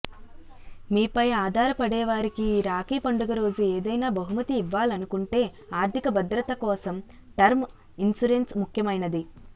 మీపై ఆధారపడేవారికి ఈ రాఖీ పండుగ రోజు ఏదైనా బహుమతి ఇవ్వాలనుకుంటే ఆర్థిక భద్రత కోసం టర్మ్ ఇన్సురెన్స్ ముఖ్యమైనది